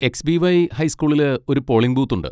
X. B. Y ഹൈസ്കൂളില് ഒരു polling ബൂത്തുണ്ട്.